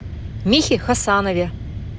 михе хасанове